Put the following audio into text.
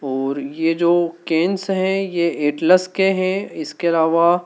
और ये जो कैनस् हैं ये एटलस के हैं इसके अलावा--